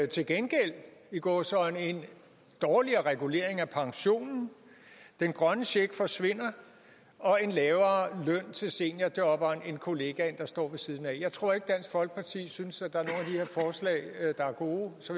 til gengæld i gåseøjne en dårligere regulering af pensionen den grønne check forsvinder og en lavere løn til seniorjobberen end kollegaen der står ved siden af jeg tror ikke dansk folkeparti synes at der er her forslag der er gode så